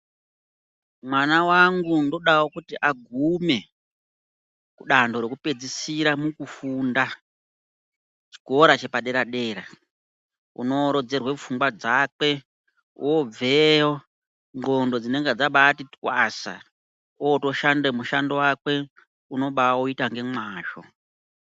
Mwana wangu ndodawo kuti agume kudanho rekupedzisira mukufunda chikora chepadera-dera, unoorodzerwa pfungwa dzakwe, obveyo ndxondo dzinenge dzabati twasa otoshande mushando wakwe unobauita ngemwazvo.